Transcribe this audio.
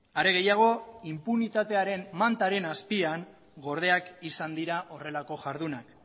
are gehiago inpunitatearen mantaren azpian gordinak izan dira horrelako jardunak